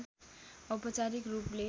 औपचारिक रूपले